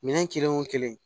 Minɛn kelen o kelen